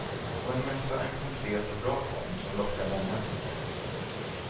Och en mässa är en konkret och bra form som lockar många.